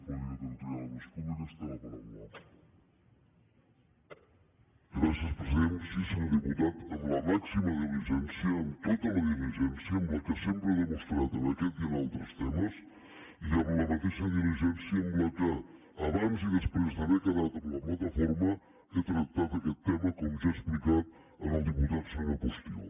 sí senyor diputat amb la màxima diligència amb tota la diligència amb la que sempre he demostrat en aquest i en altres temes i amb la mateixa diligència amb què abans i després d’haver quedat amb la plataforma he tractat aquest tema com ja he explicat al diputat senyor postigo